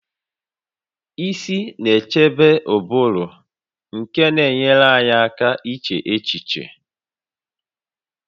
Isi na-echebe ụbụrụ nke na-enyere anyị aka iche echiche